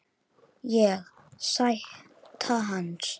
Ég: Sæta hans.